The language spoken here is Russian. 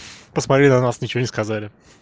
посмотри на нас ничего не сказали